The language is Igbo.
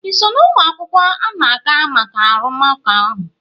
ị so na ụmụ akwụkwọ na-aga maka arụmụka ahụ?